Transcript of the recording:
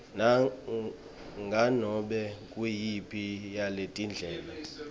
nganome nguyiphi yaletindlela